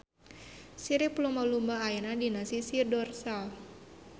Sirip lumba-lumba ayana dina sisi dorsal.